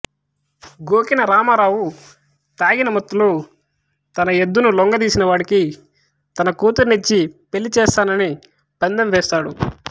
గోకిన రామారావు తగిన మత్తులో తన ఎద్దును లొంగదీసినవాడికి తన కూతుర్నిచ్చి పెళ్ళి చేస్తానని పందెం వేస్తాడు